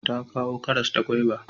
Ta kawo karas da gwaiba